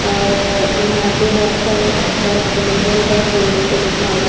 और यहां पे बहोत सारे डॉक्टर अवेलेबल है बोर्ड पे लिखा हुआ --